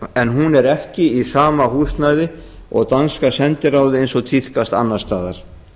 en hún er ekki í sama húsnæði og danska sendiráðið eins og tíðkast annars staðar